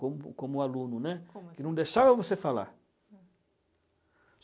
Como como aluno, né. Como assim? Que não deixava você falar.